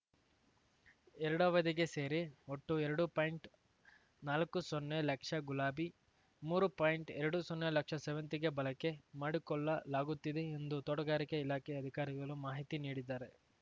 ಎರಡು ಅವಧಿಗೆ ಸೇರಿ ಒಟ್ಟು ಎರಡು ಪಾಯಿಂಟ್ನಾಲಕ್ಕು ಸೊನ್ನೆ ಲಕ್ಷ ಗುಲಾಬಿ ಮೂರು ಪಾಯಿಂಟ್ಎರಡು ಸೊನ್ನೆ ಲಕ್ಷ ಸೇವಂತಿಗೆ ಬಳಕೆ ಮಾಡಿಕೊಳ್ಳಲಾಗುತ್ತಿದೆ ಎಂದು ತೋಟಗಾರಿಕೆ ಇಲಾಖೆ ಅಧಿಕಾರಿಗಳು ಮಾಹಿತಿ ನೀಡಿದ್ದಾರೆ